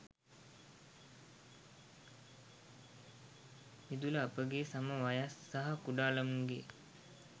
මිදුල අපගේ සම වයස් සහ කුඩා ළමුන්ගේ